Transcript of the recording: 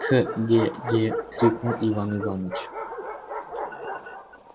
к-ге-ге крикнул иван иваныч